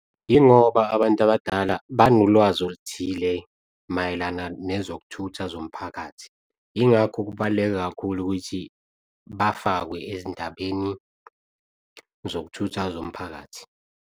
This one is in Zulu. Yingoba abantu abadala banolwazi oluthile mayelana nezokuthutha zomphakathi, yingakho kubaluleke kakhulu ukuthi bafakwe ezindabeni zokuthutha zomphakathi.